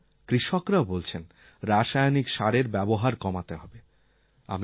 আর এখন কৃষকরাও বলছেন রাসায়নিক সারের ব্যবহার কমাতে হবে